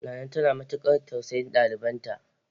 Nana tana matukar tausayin dalibanta.